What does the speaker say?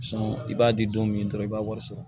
i b'a di don min dɔrɔn i b'a wari sɔrɔ